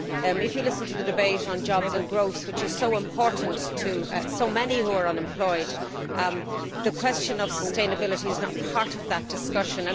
If you listen to the debate on jobs and growth, which is so important to so many who are unemployed, the question of sustainability is not part of that discussion.